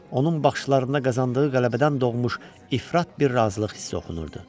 Onun baxışlarında qazandığı qələbədən doğmuş ifrat bir razılıq hissi oxunurdu.